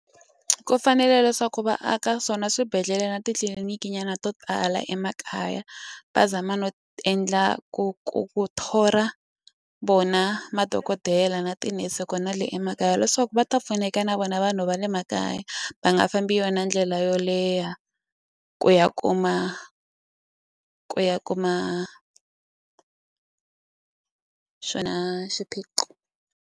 Ku fanele leswaku va aka swona swibedhlele na titliliniki nyana to tala emakaya va zama no endla ku ku ku thola vona madokodela na tinese kp na le emakaya leswaku ku va ta pfuneka na vona vanhu va le makaya va nga fambi yona ndlela yo leha ku ya kuma ku ya kuma xona xiphiqo.